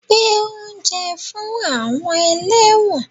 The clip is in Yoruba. Gbé oúnjẹ fún àwọn ẹlẹ́wọ̀n